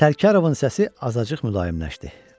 Sərkarovun səsi azacıq mülayimləşdi.